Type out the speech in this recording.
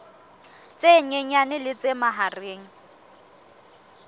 tse nyenyane le tse mahareng